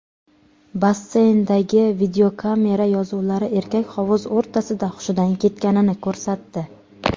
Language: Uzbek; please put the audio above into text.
Basseyndagi videokamera yozuvlari erkak hovuz o‘rtasida hushidan ketganini ko‘rsatdi.